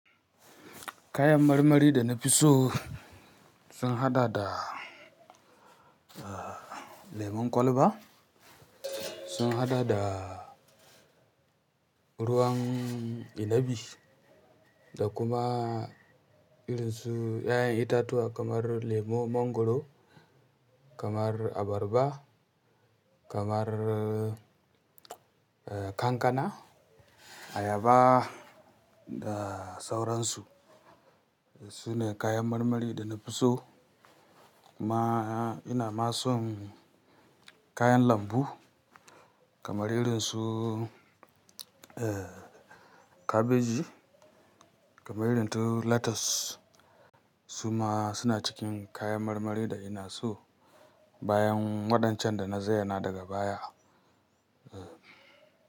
Kayan marmari da na fi so sun hada da, ah, lemon kwalba, sun hada da ruwan inabi da kuma irin su 'ya'yan itatuwa kamar lemo, mongoro, kamar abarba, kamar, eh, kankana, ayaba da sauransu. Sune kayan marmari da na fi so. Kuma ina ma son kayan lambu kamar irin su, eh, kabeji, kamar irin su lettuce. Su ma suna cikin kayan marmari da ina so bayan waɗancan da na zayyana daga baya. Eh.